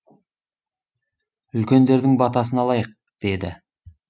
үлкендердің батасын алайық деді